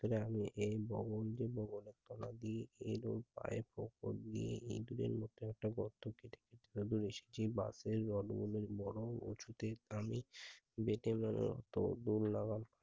ভেতরে আমি এই বঙ্গবন্ধুর মত সমাধি এবং পায়ের পক্ষ দিয়ে ইঁদুরের মতো একটা গর্ত পুঁতে অধিবসইছি মরণ ঔষুধে আমি